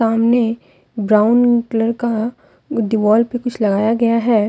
सामने brown colour का दीवाल पे कुछ लगाया गया है।